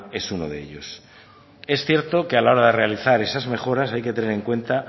es uno de ellos es cierto que a la hora de realizar esas mejoras hay que tener en cuenta